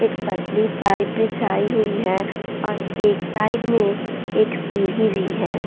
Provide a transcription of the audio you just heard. एक पतली पाइप बिछाई हुई है और एक साइड में एक सीढ़ी भी है।